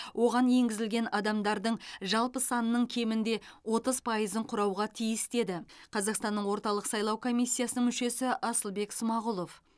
оған енгізілген адамдардың жалпы санының кемінде отыз пайызын құрауға тиіс деді қазақстанның орталық сайлау комиссиясының мүшесі асылбек смағұлов